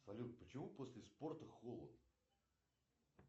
салют почему после спорта холод